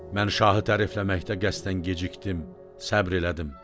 Mən şahı tərifləməkdə qəsdən gecikdim, səbr elədim.